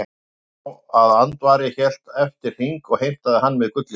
Loki sá að Andvari hélt eftir hring og heimtaði hann með gullinu.